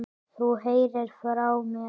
Þú heyrir frá mér.